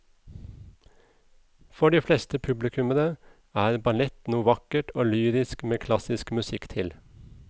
For de fleste publikummere er ballett noe vakkert og lyrisk med klassisk musikk til.